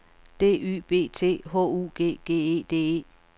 D Y B T H U G G E D E